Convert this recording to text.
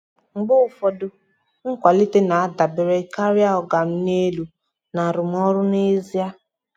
mgbe ụfọdụ um nkwalite um na-adabere karịa na um “oga m n'elu” na arụmọrụ n'ezie.